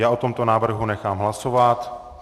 Já o tomto návrhu nechám hlasovat.